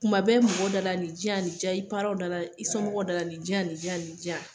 Kuma bɛ mɔgɔw dala nin diyan ni diyan i dala i so mɔgɔw da la ni diyan ni diyan ni diyan.